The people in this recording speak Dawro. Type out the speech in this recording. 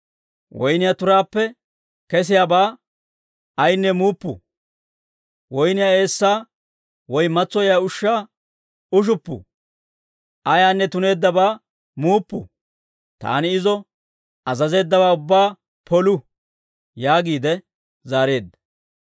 Woynniyaa turaappe kesiyaabaa ayaanne muuppu; woyniyaa eessaa woy matsoyiyaa ushshaa ushuppu; ayaanne tuneeddabaa muuppu. Taani izo azazeeddawaa ubbaa polu» yaagiide zaareedda.